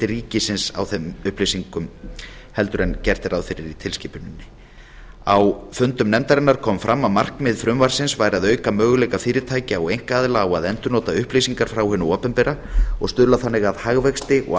ríkisins á þeim upplýsingum heldur en gert er ráð fyrir í tilskipuninni á fundum nefndarinnar kom fram að markmið frumvarpsins væri að auka möguleika fyrirtækja og einkaaðila á að endurnota upplýsingar frá hinu opinbera og stuðla þannig að hagvexti og